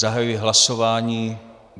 Zahajuji hlasování.